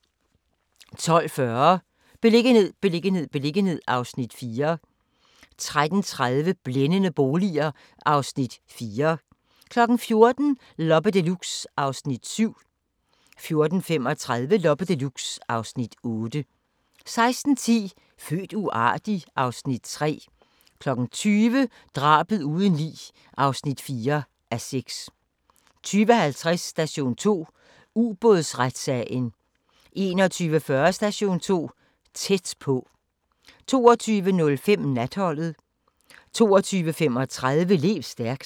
12:40: Beliggenhed, beliggenhed, beliggenhed (Afs. 4) 13:30: Blændende boliger (Afs. 4) 14:00: Loppe Deluxe (Afs. 7) 14:35: Loppe Deluxe (Afs. 8) 16:10: Født uartig? (Afs. 3) 20:00: Drabet uden lig (4:6) 20:50: Station 2: Ubådsretssagen 21:40: Station 2: Tæt på 22:05: Natholdet 22:35: Lev stærkt